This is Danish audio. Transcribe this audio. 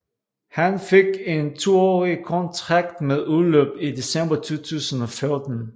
Han fik en toårig kontrakt med udløb i december 2014